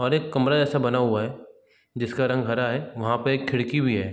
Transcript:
और एक कमरा जैसा बना हुआ है जिसका रंग हरा है वहाँ पे एक खिड़की भी है।